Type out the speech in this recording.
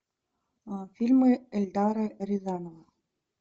фильмы эльдара рязанова